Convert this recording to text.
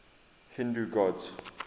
hindu gods